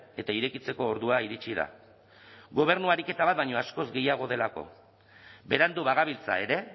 eta irekitzeko ordua iritsi da gobernu ariketa bat baino askoz gehiago delako berandu bagabiltza ere